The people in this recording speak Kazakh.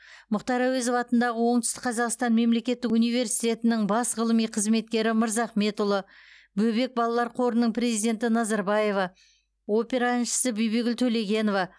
мұхтар әуезов атындағы оңтүстік қазақстан мемлекеттік университетінің бас ғылыми қызметкері мырзахметұлы бөбек балалар қорының президенті назарбаева опера әншісі төлегенова